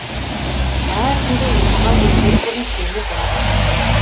әр түнде ұйқыға кетпес бұрын сені бір адам ойлайды